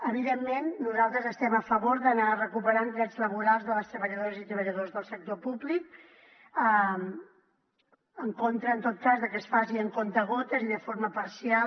evidentment nosaltres estem a favor d’anar recuperant drets laborals de les treballadores i treballadors del sector públic i en contra en tot cas de que es faci amb comptagotes i de forma parcial